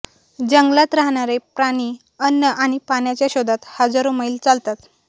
जंगलात राहणारे प्राणीअन्न आणि पाण्याच्या शोधात हजारो मैल चालतात